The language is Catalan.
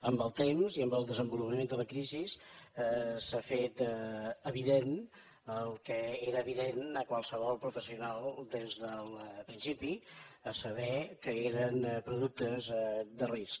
amb el temps i amb el desenvolupament de la crisi s’ha fet evident el que era evident a qualsevol professional des del principi a saber que eren productes de risc